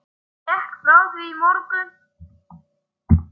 Ég gekk frá því í morgun.